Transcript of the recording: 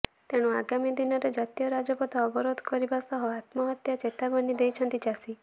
ତେଣୁ ଆଗାମୀ ଦିନରେ ଜାତୀୟ ରାଜପଥ ଅବରୋଧ କରିବା ସହ ଆତ୍ମହତ୍ୟା ଚେତାବନୀ ଦେଇଛନ୍ତି ଚାଷୀ